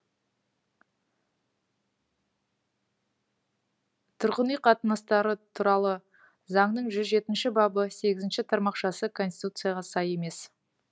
тұрғын үй қатынастары туралы заңның жүз жетінші бабы сегізінші тармақшасы конституцияға сай емес